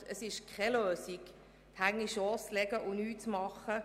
Es ist keine Lösung, die Hände in den Schoss zu legen und nichts zu tun.